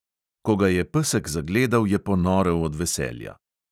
Ko ga je pesek zagledal, je ponorel od veselja.